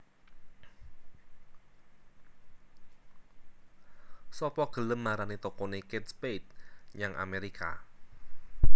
Sopo gelem marani tokone Kate Spade nyang Amerika